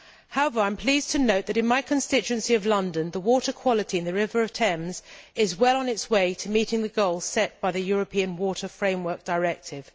However, I am pleased to note that in my constituency of London the water quality in the River Thames is well on its way to meeting the goal set by the European Water Framework Directive.